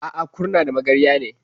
A'a, Kurna da Magarya ne.